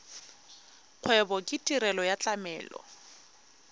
kgwebo ke tirelo ya tlamelo